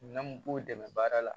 Minɛn mun b'u dɛmɛ baara la